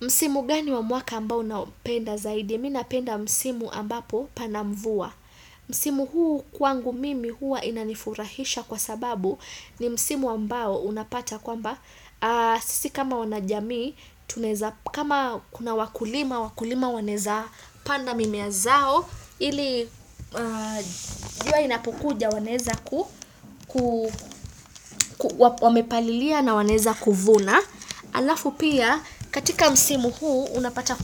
Msimu gani wa mwaka ambao unaopenda zaidi? Mi napenda msimu ambapo pana mvua. Msimu huu kwangu mimi hua inanifurahisha kwa sababu ni msimu ambao unapata kwamba. Sisi kama wanajamii, kama kuna wakulima, wakulima wanaeza panda mimea zao. Ili, jua inapokuja wanaeza ku, wamepalilia na wanaeza kuvuna. Alafu pia katika msimu huu unapata